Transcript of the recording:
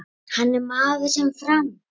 Hann er maður sem fram